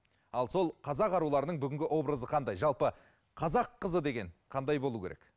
ал сол қазақ аруларының бүгінгі образы қандай жалпы қазақ қызы деген қандай болу керек